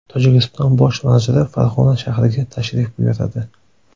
Tojikiston bosh vaziri Farg‘ona shahriga tashrif buyuradi.